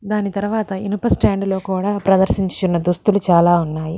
దాని తరువాత ఇనప స్టాండ్ లో కూడా ప్రధాశ్రశ్నించున్న దుస్తులు కూడా ఉన్నాయి.